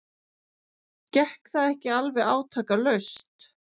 Gekk það ekki alveg átakalaust.